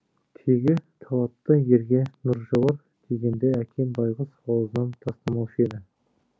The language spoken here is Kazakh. тегі талапты ерге нұр жауар дегенді әкем байғұс аузынан тастамаушы еді